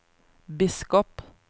biskop